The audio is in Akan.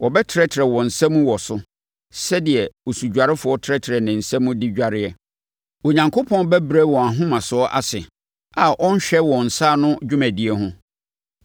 Wɔbɛtrɛtrɛ wɔn nsa mu wɔ so, sɛdeɛ osudwarefoɔ trɛtrɛ ne nsa mu de dwareɛ. Onyankopɔn bɛbrɛ wɔn ahomasoɔ ase a ɔrenhwɛ wɔn nsa ano dwumadie ho.